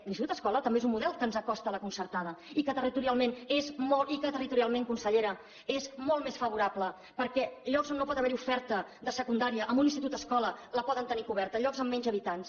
l’institut escola també és un model que ens acosta a la concertada i que territorialment consellera és molt més favorable perquè llocs on no pot haver hi oferta de secundària amb un institut escola la poden tenir coberta llocs amb menys habitants